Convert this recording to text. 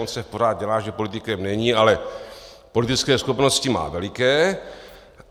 On se pořád dělá, že politikem není, ale politické schopnosti má veliké.